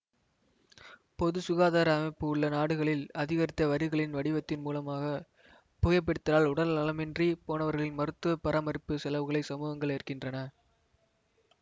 பொது சுகாதார அமைப்பு உள்ள நாடுகளில் அதிகரித்த வரிகளின் வடிவத்தின் மூலமாக புகைபிடித்தலால் உடல் நலமின்றி போனவர்களின் மருத்துவ பராமரிப்பு செலுவுகளை சமூகங்கள் ஏற்கின்றன